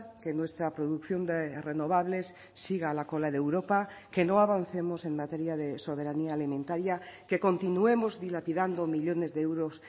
que nuestra producción de renovables siga a la cola de europa que no avancemos en materia de soberanía alimentaria que continuemos dilapidando millónes de euros